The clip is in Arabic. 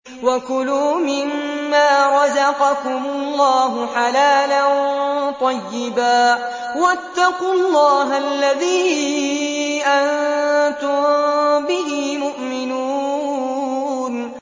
وَكُلُوا مِمَّا رَزَقَكُمُ اللَّهُ حَلَالًا طَيِّبًا ۚ وَاتَّقُوا اللَّهَ الَّذِي أَنتُم بِهِ مُؤْمِنُونَ